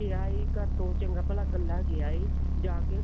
ਗਿਆ ਏ ਘਰ ਤੋਂ ਚੰਗਾ ਭਲਾ ਕੱਲਾ ਗਿਆ ਹੈ ਜਾ ਕੇ ਉਹ